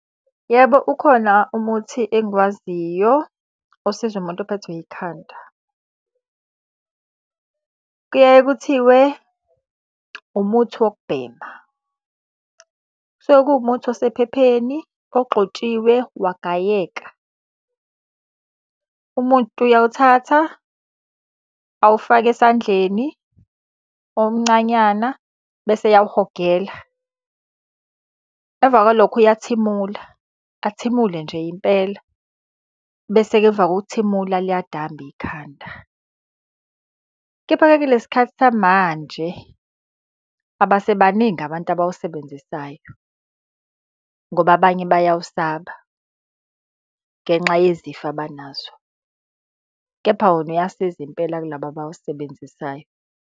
Yebo ukhona umuthi engiwaziyo osiza umuntu ophethwe yikhanda. Kuyaye kuthiwe umuthi wokubhema. Kusuke kuwumuthi osephepheni, ogxotshiwe, wagayeka. Umuntu uyawuthatha, awufake esandleni omncanyana, bese eyawuhogela. Emva kwalokho uyathimula, athimule nje impela, bese-ke emva kokuthimula liyadamba ikhanda. Kepha-ke kulesi sikhathi samanje, abasebaningi abantu abawusebenzisayo ngoba abanye bayawusaba ngenxa yezifo abanazo. Kepha wona uyasiza impela kulaba abawusebenzisayo.